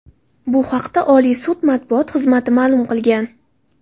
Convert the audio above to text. Bu haqda Oliy sud matbuot xizmati ma’lum qilgan .